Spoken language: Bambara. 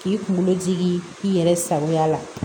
K'i kunkolo jigi i yɛrɛ sagoya la